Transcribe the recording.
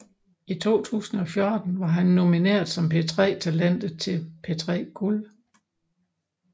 I 2014 var han nomineret som P3 Talentet til P3 Guld